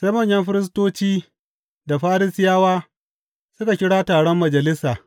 Sai manyan firistoci da Farisiyawa suka kira taron Majalisa.